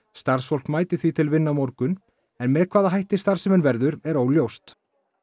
starfsfólk mæti því til vinnu á morgun en með hvaða hætti starfsemin verður er óljóst